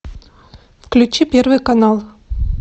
включи первый канал